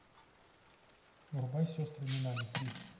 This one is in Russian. врубай сестры минами три